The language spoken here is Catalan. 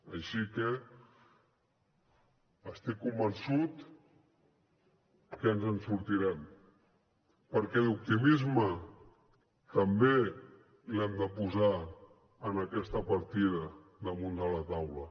així que estic convençut que ens en sortirem perquè l’optimisme també l’hem de posar en aquesta partida damunt la taula